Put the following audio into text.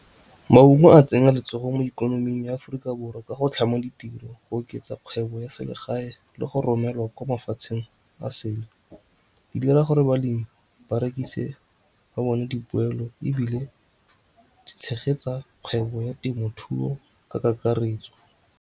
Maungo a tsenya letsogo mo ikonoming ya Aforika Borwa ka go tlhama ditiro, go oketsa kgwebo ya selegae le go romelwa kwa mafatsheng a sele. Di dira gore balemi ba rekise, ba bone dipoelo, ebile di tshegetsa kgwebo ya temothuo ka kakaretso.